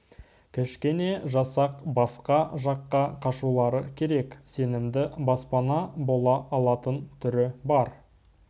кішкене жасақ басқа жаққа қашулары керек сенімді баспана бола алатын түрі бар